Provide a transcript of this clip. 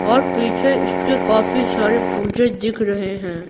और पीछे इसके काफी सारे पूजे दिख रहे हैं।